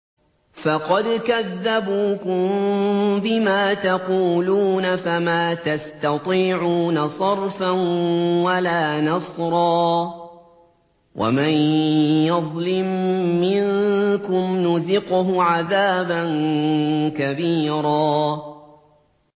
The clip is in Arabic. فَقَدْ كَذَّبُوكُم بِمَا تَقُولُونَ فَمَا تَسْتَطِيعُونَ صَرْفًا وَلَا نَصْرًا ۚ وَمَن يَظْلِم مِّنكُمْ نُذِقْهُ عَذَابًا كَبِيرًا